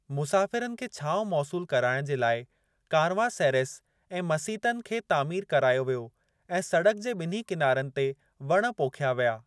मुसाफ़िरनि खे छांव मौसूलु कराइणु जे लाइ कारवांसेरैस ऐं मसीतनि खे तामीर करायो वियो ऐं सड़क जे बि॒न्ही किनारनि ते वण पोखिया विया।